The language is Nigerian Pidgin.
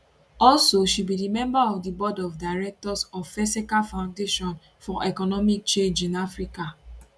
also she be di member of di board of directors of feseca foundation for economic change in africa